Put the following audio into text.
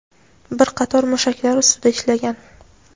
bir qator mushaklar ustida ishlagan.